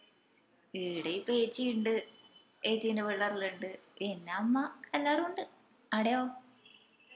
ഈട ഇപ്പൊ ഏച്ചി ഇണ്ട് ഏച്ചിന്റെ പിള്ളാരെല്ലൊം ഇണ്ട് പിന്ന അമ്മ എല്ലാരു ഇണ്ട്. ആടയോ?